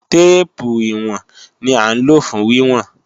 Téèpù ìwọ̀n ni à ń lò fún wíwọ̀n